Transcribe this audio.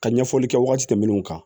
Ka ɲɛfɔli kɛ waati tɛmɛnnu kan